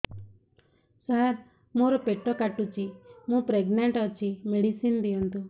ସାର ମୋର ପେଟ କାଟୁଚି ମୁ ପ୍ରେଗନାଂଟ ଅଛି ମେଡିସିନ ଦିଅନ୍ତୁ